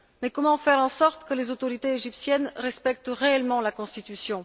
Mais comment faire en sorte que les autorités égyptiennes respectent réellement la constitution?